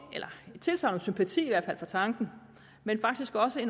eller et tilsagn sympati for tanken men faktisk også